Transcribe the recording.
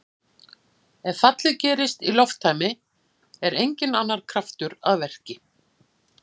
Ef fallið gerist í lofttæmi er enginn annar kraftur að verki.